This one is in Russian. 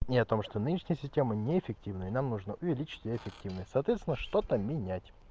не о том что нынешняя система неэффективна и нам нужно увеличить эффективность соответственно что-то менять